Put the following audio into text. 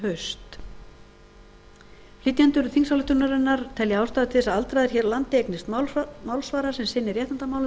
haust flytjendur þingsályktunarinnar telja ástæðu til að aldraðir hér á landi eignist málsvara sem sinni réttindamálum þeirra og